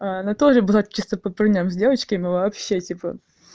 анатолий было чисто по парням с девочками вообще типа